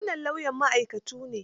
Wannan lauyan ma'aikatu ne.